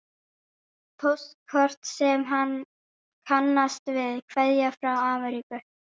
Póstkort sem hann kannast við, kveðja frá Ameríku.